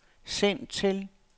send til